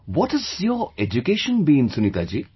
What has your education been Sunita ji